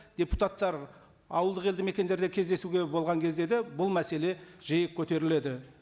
депутаттар ауылдық елді мекендерде кездесуде болған кезде де бұл мәселе жиі көтеріледі